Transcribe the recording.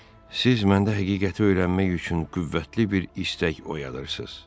Siz məndə həqiqəti öyrənmək üçün qüvvətli bir istək oyadırsız.